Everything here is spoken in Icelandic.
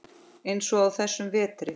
Eins og á þessum vetri.